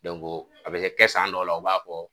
a bi kɛ san dɔw la, u b'a fɔ